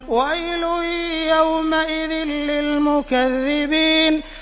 وَيْلٌ يَوْمَئِذٍ لِّلْمُكَذِّبِينَ